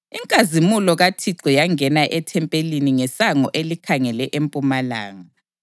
Inkazimulo kaThixo yangena ethempelini ngesango elikhangele empumalanga.